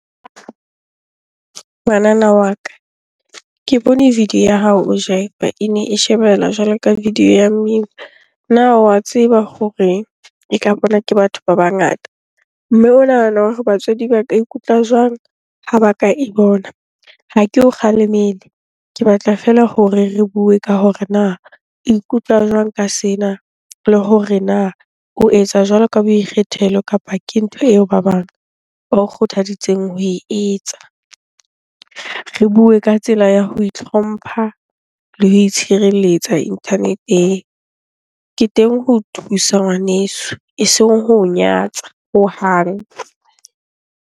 Ngwanana wa ka, ke bone video ya hao o jiva. Ene e shebela jwalo ka video ya mmino. Na wa tseba hore e ka bonwa ke batho ba bangata? Mme o nahana hore batswadi ba ka ikutlwa jwang ha ba ka e bona. Ha ke o kgalemele, ke batla feela hore re bue ka hore na o ikutlwa jwang ka sena? Le hore na o etsa jwalo ka boikgethelo kapa ke ntho eo ba bang ba o kgothaditseng ho e etsa? Re bue ka tsela ya ho itlhompha le ho itshireletsa internet-eng. Ke teng ho thusa ngwaneso, eseng ho nyatsa hohang.